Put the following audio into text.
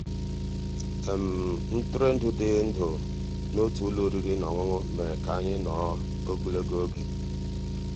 ntụ́rụ́èndụ́ dị́ ndụ́ n'ótú ụ́lọ́ òrìrì ná ọ́nụ́ṅụ́ mérè ká ànyị́ nọ̀rọ́ ògólógó ògé.